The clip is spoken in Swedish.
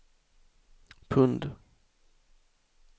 pund